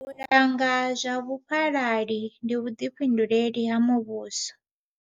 U langa zwa vhufhalali ndi vhuḓifhinduleli ha muvhuso.